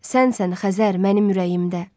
Sənsən Xəzər mənim ürəyimdə.